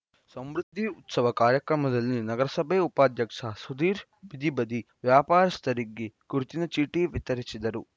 ಸಮೃದ್ಧಿ ಉತ್ಸವ ಕಾರ್ಯಕ್ರಮದಲ್ಲಿ ನಗರಸಭೆ ಉಪಾಧ್ಯಕ್ಷ ಸುಧೀರ್‌ ಬೀದಿಬದಿ ವ್ಯಾಪಾರಸ್ಥರಿಗೆ ಗುರುತಿನ ಚೀಟಿ ವಿತರಿಸಿದರು